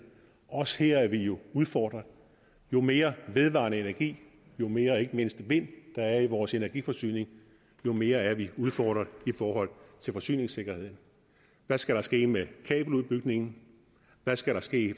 også her er vi jo udfordret jo mere vedvarende energi jo mere ikke mindst vind der er i vores energiforsyning jo mere er vi udfordret i forhold til forsyningssikkerhed hvad skal der ske med kabeludbygningen hvad skal der ske i